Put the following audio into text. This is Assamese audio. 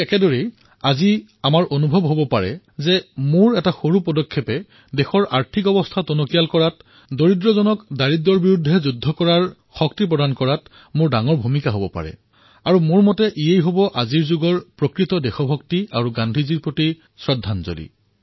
এইদৰেই আজি আমি ভাবিব পাৰো যে মোৰ এই ক্ষুদ্ৰ কাৰ্যৰ দ্বাৰা মোৰ দেশৰ আৰ্থিক উন্নতিত আৰ্থিক সশক্তিকৰণত দুখীয়াক দৰিদ্ৰতাৰ বিৰুদ্ধে যুঁজিবলৈ শক্তি প্ৰদান কৰাত মোৰ এক অৱদান থাকিব পাৰে আৰু মই জানো যে এয়াই প্ৰকৃত দেশভক্তি এয়াই পূজ্য বাপুৰ প্ৰতি শ্ৰদ্ধাঞ্জলি